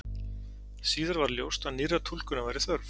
Síðar varð ljóst að nýrrar túlkunar væri þörf.